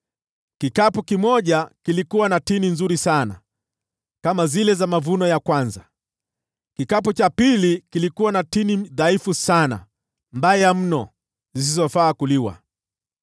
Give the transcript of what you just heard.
Kikapu kimoja kilikuwa na tini nzuri sana, kama zile za mavuno ya kwanza. Kikapu cha pili kilikuwa na tini dhaifu sana, mbovu mno zisizofaa kuliwa.